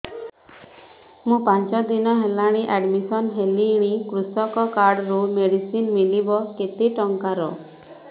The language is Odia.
ମୁ ପାଞ୍ଚ ଦିନ ହେଲାଣି ଆଡ୍ମିଶନ ହେଲିଣି କୃଷକ କାର୍ଡ ରୁ ମେଡିସିନ ମିଳିବ କେତେ ଟଙ୍କାର